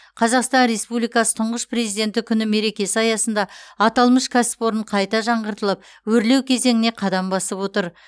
қазақстан республикасы тұңғыш президенті күні мерекесі аясында аталмыш кәсіпорын қайта жаңғыртылып өрлеу кезеңіне қадам басып отыр